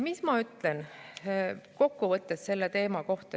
Mis ma ütlen selle teema kokkuvõtteks?